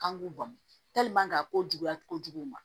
K'an k'u bɔn a ko juguya kojugu